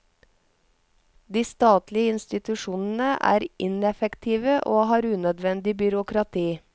De statlige institusjonene er ineffektive og har unødvendig byråkrati.